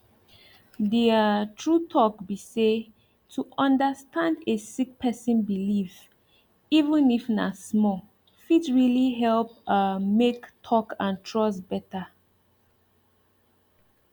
the um true talk be say to understand a sick person belief even if na small fit really help um make talk and trust better